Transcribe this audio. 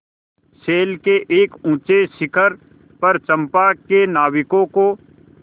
शैल के एक ऊँचे शिखर पर चंपा के नाविकों को